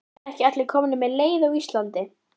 Eru ekki allir komnir með leið á Íslandi?